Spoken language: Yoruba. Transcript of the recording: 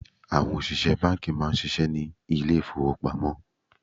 Àwọn òṣìṣẹ́ bánkì má a nsisé ní lé ìfowópamósí